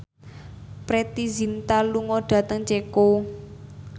Preity Zinta lunga dhateng Ceko